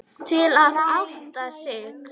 Til að átta sig.